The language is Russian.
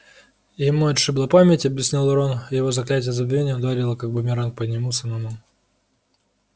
ему отшибло память объяснил рон его заклятие забвения ударило как бумеранг по нему самому